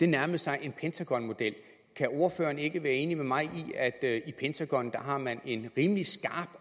nærmede sig en pentagonmodel kan ordføreren ikke være enig med mig i at at i pentagon har man en rimelig skarp